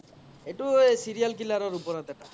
এইতো এ serial killer ৰ ওপৰত এ